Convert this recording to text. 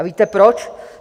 A víte proč?